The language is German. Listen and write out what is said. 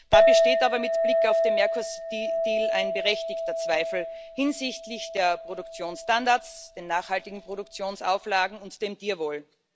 Da besteht aber mit Blick auf den Mercosur Deal ein berechtigter Zweifel hinsichtlich der Produktionsstandards, der nachhaltigen Produktionsauflagen und des Tierwohls.